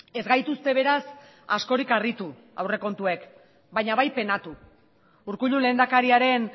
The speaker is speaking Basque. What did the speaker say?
ez gaituzte beraz askorik harritu aurrekontuek baina bai penatu urkullu lehendakariaren